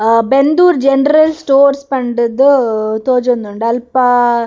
ಆ Bendur general store ಪಂಡ್‌ದ್‌ ತೋಜೋಂದುಂಡು ಅಲ್ಪ.